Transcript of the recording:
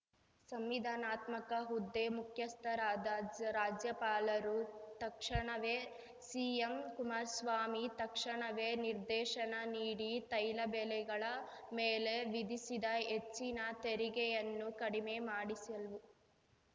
ಸಂವಿಧಾನಾತ್ಮಕ ಹುದ್ದೆ ಮುಖ್ಯಸ್ಥರಾದ ರಾಜ್ಯಪಾಲರು ತಕ್ಷಣವೇ ಸಿಎಂ ಕುಮಾರಸ್ವಾಮಿ ತಕ್ಷಣವೇ ನಿರ್ದೇಶನ ನೀಡಿ ತೈಲ ಬೆಲೆಗಳ ಮೇಲೆ ವಿಧಿಸಿದ ಹೆಚ್ಚಿನ ತೆರಿಗೆಯನ್ನು ಕಡಿಮೆ ಮಾಡಿಸಲಿ